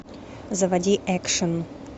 заводи экшн